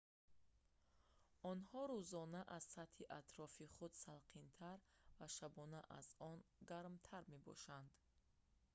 онҳо рӯзона аз сатҳи атрофи худ салқинтар ва шабона аз он гармтар мебошанд